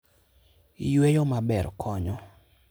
Yueyo maber konyo.